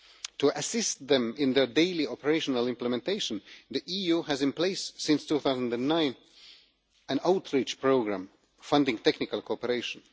To assist them in their daily operational implementation, the EU has had in place since 2009 an outreach programme funding technical cooperation.